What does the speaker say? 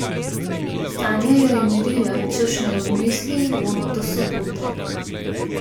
Sanja jo je mirila, češ, naj odmisli Ivono do sobote.